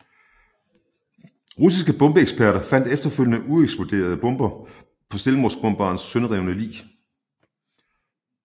Russiske bombeeksperter fandt efterfølgende ueksploderede bomber på selvmordsbomberens sønderrevne lig